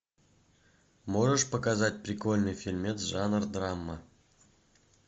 можешь показать прикольный фильмец жанр драма